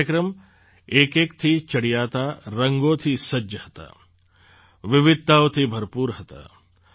આ કાર્યક્રમ એકએકથી ચડિયાતા રંગોથી સજ્જ હતા વિવિધતાઓથી ભરપૂર હતા